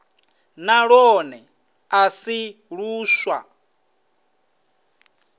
na lwone a si luswa